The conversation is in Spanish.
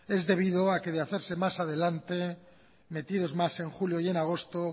es debido a que de hacerse más adelante metidos más en julio y en agosto